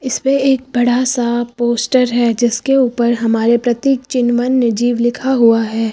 इसपे एक बड़ा सा पोस्टर है जिसके ऊपर हमारे प्रतीक चिन्ह वन्य जीव लिखा हुआ है।